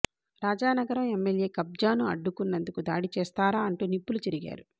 Rajanagaram MLA కబ్జాను అడ్డుకున్నందుకు దాడి చేస్తారా అంటూ నిప్పులు చెరిగారు